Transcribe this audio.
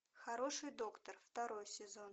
хороший доктор второй сезон